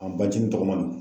An bajinin tɔgɔma don.